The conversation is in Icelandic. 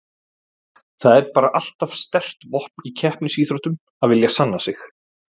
Það er bara alltaf sterkt vopn í keppnisíþróttum að vilja sanna sig.